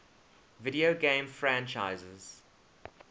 video game franchises